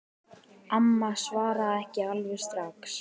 Amma svaraði ekki alveg strax.